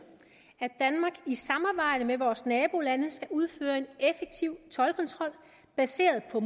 at med vores nabolande skal udføre en effektiv toldkontrol baseret på